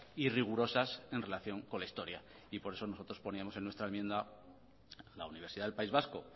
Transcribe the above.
y rigurosas en relación con la historia y por eso nosotros poníamos en nuestra enmienda la universidad del país vasco